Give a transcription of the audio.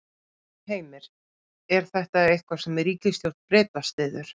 Heimir: Er þetta eitthvað sem ríkisstjórn Breta styður?